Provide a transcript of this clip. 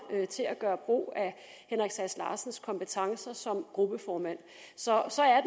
til at gøre brug af herre henrik sass larsens kompetencer som gruppeformand så